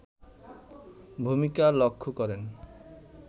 ভূমিকা লক্ষ্য করেন